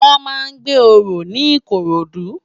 Wòn má n gbé óró ni Ikorodu